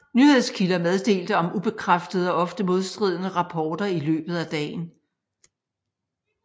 Nyhedskilder meddelte om ubekræftede og ofte modstridende rapporter i løbet af dagen